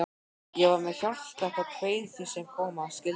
Ég var með hjartslátt og kveið því sem koma skyldi.